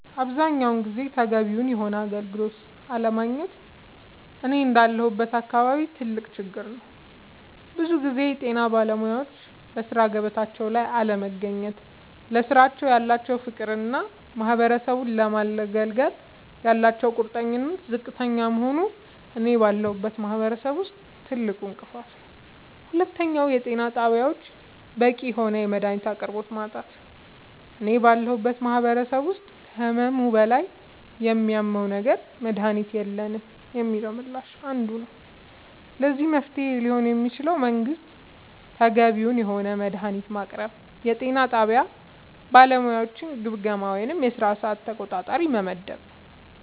አብዛኛውን ጊዜ ተገቢውን የሆነ አገልግሎት አለማግኘት እኔ እንዳለሁበት አካባቢ ትልቅ ችግር ነዉ ብዙ ጊዜ የጤና ባለሙያወች በሥራ ገበታቸው ላይ አለመገኘት ለስራው ያላቸው ፍቅርና ማህበረሰቡን ለማገልገል ያላቸው ቁርጠኝነት ዝቅተኛ መሆኑ እኔ ባለሁበት ማህበረሰብ ትልቁ እንቅፋት ነዉ ሁለተኛው የጤና ጣቢያወች በቂ የሆነ የመድሃኒት አቅርቦት ማጣት እኔ ባለሁበት ማህበረሰብ ውስጥ ከህመሙ በላይ የሚያመው ነገር መድሃኒት የለንም የሚለው ምላሽ አንዱ ነዉ ለዚህ መፍትሄ ሊሆን የሚችለው መንግስት ተገቢውን የሆነ መድሃኒት ማቅረብና የጤና ጣቢያ ባለሙያወችን ግምገማ ወይም የስራ ሰዓት ተቆጣጣሪ መመደብ